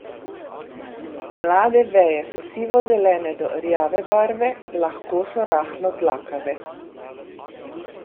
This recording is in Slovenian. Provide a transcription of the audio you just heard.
Mlade veje so sivozelene do rjave barve, lahko so rahlo dlakave.